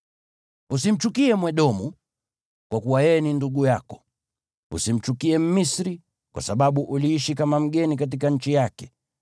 Usimchukie Mwedomu, kwa kuwa yeye ni ndugu yako. Usimchukie Mmisri, kwa sababu uliishi kama mgeni katika nchi yake.